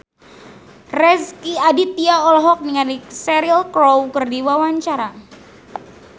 Rezky Aditya olohok ningali Cheryl Crow keur diwawancara